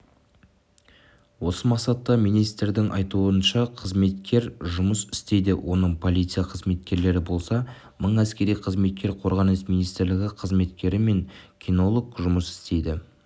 осы мақсатта министрдің айтуынша қызметкер жұмыс істейді оның полиция қызметкерлері болса мың әскери қызметкер қорғаныс министрлігі қызметкері мен кинолог жұмыс істейді